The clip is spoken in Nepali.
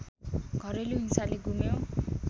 घरेलु हिंसाले गुम्यो